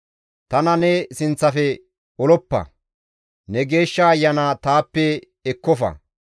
Tana ne sinththafe oloppa; ne Geeshsha Ayana taappe ekkofa.